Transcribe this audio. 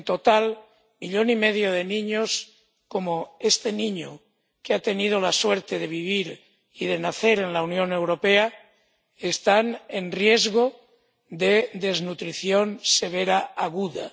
en total, millón y medio de niños, como este niño que ha tenido la suerte de vivir y de nacer en la Unión Europea, están en riesgo de desnutrición severa aguda.